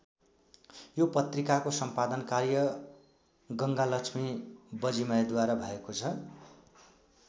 यो पत्रिकाको सम्पादन कार्य गङ्गालक्ष्मी वजिमयद्वारा भएको छ।